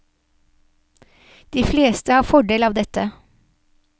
De fleste har fordel av dette.